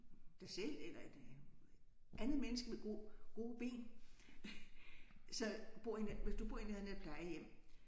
Dig selv eller et andet menneske med gode ben så bor i hvis du bor i nærheden af et plejehjem